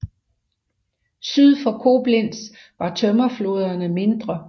Syd for Koblenz var tømmerflåderne mindre